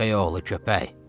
Köpək oğlu köpək.